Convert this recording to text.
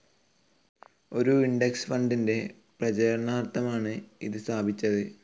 ഒരു ഇൻഡെക്സ്‌ ഫണ്ടിന്റെ പ്രചരണാർത്ഥമാണ് ഇത് സ്ഥാപിച്ചത്.